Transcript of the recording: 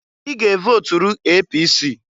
I ga evoturu APC!